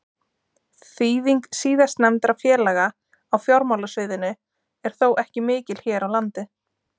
Þýðing síðastnefndra félaga á fjármálasviðinu er þó ekki mikil hér á landi.